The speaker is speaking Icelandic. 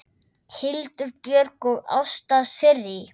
Hildur Björg og Ásta Sirrí.